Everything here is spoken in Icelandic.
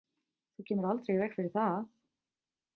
Þú kemur aldrei í veg fyrir það.